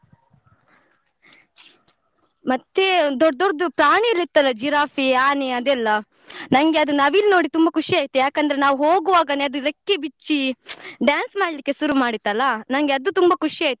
ಮತ್ತೆ ದೊಡ್ಡ್ ದೊಡ್ಡ್ದು ಪ್ರಾಣಿ ಎಲ್ಲ ಇತ್ತಲ್ಲ ಜಿರಾಫೆ, ಆನೆ ಅದೆಲ್ಲ ನಂಗೆ ಅದು ನವಿಲು ನೋಡಿ ತುಂಬಾ ಖುಷಿ ಆಯ್ತು ಯಾಕಂದ್ರೆ ನಾವ್ ಹೋಗುವಾಗನೆ ಅದು ರೆಕ್ಕೆ ಬಿಚ್ಚಿ dance ಮಾಡ್ಲಿಕ್ಕೆ ಶುರು ಮಾಡಿತಲ್ಲ ನಂಗೆ ಅದು ತುಂಬಾ ಖುಷಿ ಆಯ್ತು.